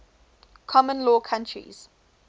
common law countries